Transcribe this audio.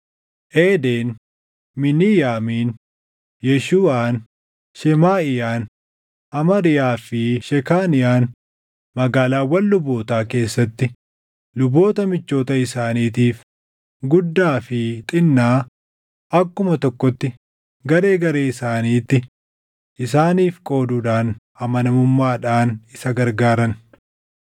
Eeden, Miiniyaamiin, Yeeshuuʼaan, Shemaaʼiyaan, Amariyaa fi Shekaaniyaan magaalaawwan lubootaa keessatti luboota michoota isaaniitiif guddaa fi xinnaa akkuma tokkotti garee garee isaaniitti isaaniif qooduudhaan amanamummaadhaan isa gargaaran.